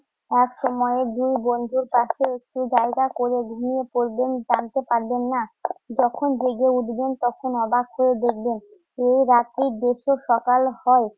একসময় দুই বন্ধুর পাশে একটু জায়গা করে ঘুমিয়ে পড়বেন জানতে পারবেন না। যখন জেগে উঠবেন তখন অবাক হয়ে দেখবেন এই রাত্রির দৃশ্য সকাল হয়